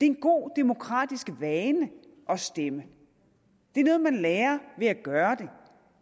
en god demokratisk vane at stemme det er noget man lærer ved at gøre det